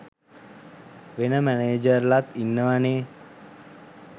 වෙන මැනේජර්ලත් ඉන්නවනේ